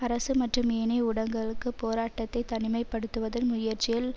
அரசு மற்றும் ஏனைய ஊடகங்களுக்கு போராட்டத்தை தனிமைப்படுத்துவதும் முயற்சியில்